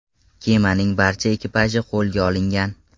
Kemaning barcha ekipaji qo‘lga olingan.